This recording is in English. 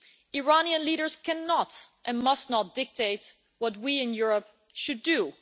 Iranian leaders cannot and must not dictate what we in Europe should do.